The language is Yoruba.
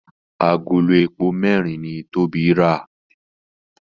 Àgòló èpo mẹrin ní Tobi rà